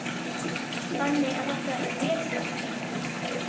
Þannig að þetta er vel hugsanlegt?